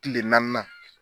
Kile naaninan.